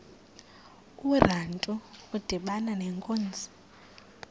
urantu udibana nenkunzi